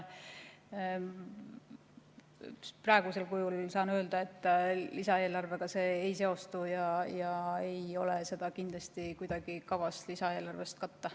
Praegusel kujul saan öelda, et lisaeelarvega see ei seostu ja seda ei ole kindlasti kavas kuidagi lisaeelarvest katta.